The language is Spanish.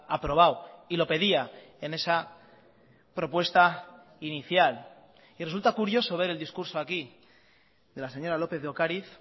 aprobado y lo pedía en esa propuesta inicial y resulta curioso ver el discurso aquí de la señora lópez de ocariz